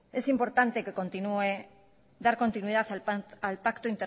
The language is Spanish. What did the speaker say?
es importante dar continuidad al pacto